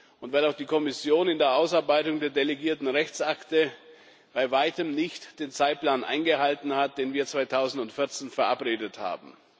und weil auch die Kommission in der Ausarbeitung der delegierten Rechtsakte bei Weitem nicht den Zeitplan eingehalten hat, den wir 2014 verabredet haben.